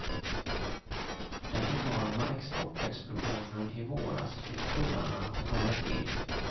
Den enorma exportexplosionen i våras fick tullarna att haja till.